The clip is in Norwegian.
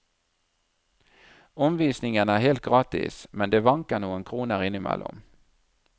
Omvisningen er helt gratis, men det vanker noen kroner innimellom.